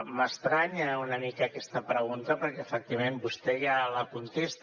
m’estranya una mica aquesta pregunta perquè efectivament vostè ja la contesta